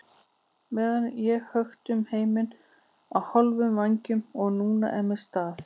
meðan ég hökti um heiminn á hálfum vængjum og er núna með staf.